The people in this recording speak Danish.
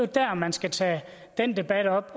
der man skal tage den debat op